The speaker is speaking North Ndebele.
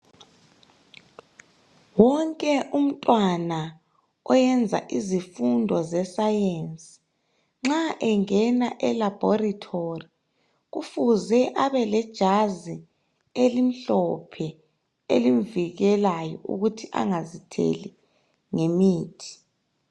Wonke umntwana oyenza izifundo zesayensi nxa engena elabhoritori kufuze abelejazi elimhlophe, elimvikelayo ukuthi angazitheli ngemithi.